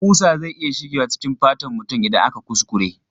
Kusa zai iya shigewa cikin fatan mutum idan aka kuskure.